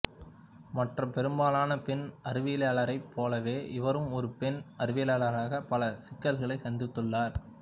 மற்ற பெரும்பாலான பெண் அறிவியலாரைப் போலவே இவரும் ஒரு பெண் அறிவியலாளராகப் பல சிக்கல்களைச் சந்தித்துள்ளார்